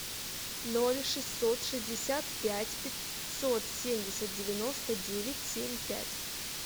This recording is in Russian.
ноль шестьсот шестьдесят пять пятьсот семьдесят девяносто девять семь пять